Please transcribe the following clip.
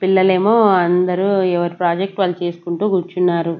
పిల్లలేమో అందరూ ఎవరి ప్రాజెక్ట్ వాళ్ళు చేసుకుంటూ కూర్చున్నారు.